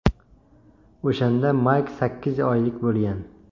O‘shanda Mayk sakkiz oylik bo‘lgan.